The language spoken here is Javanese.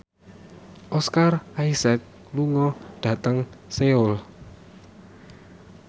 Oscar Isaac lunga dhateng Seoul